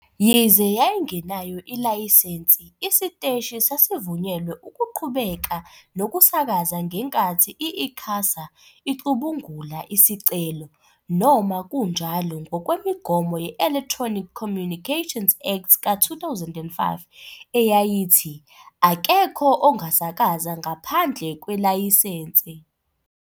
Yize yayingenayo ilayisensi, isiteshi sasivunyelwe ukuqhubeka nokusakaza ngenkathi i-ICASA icubungula isicelo, noma kunjalo ngokwemigomo ye-Electronic Communications Act ka-2005, eyayithi- "akekho ongasakaza ngaphandle kwelayisense."